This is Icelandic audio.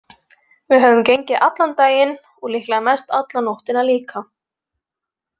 Við höfðum gengið allan daginn og líklega mestalla nóttina líka.